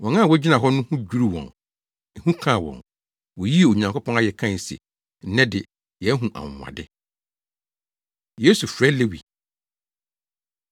Wɔn a wogyina hɔ no ho dwiriw wɔn. Ehu kaa wɔn. Woyii Onyankopɔn ayɛ kae se, “Nnɛ de, yɛahu anwonwade.” Yesu Frɛ Lewi